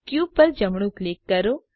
cube પર જમણું click કરો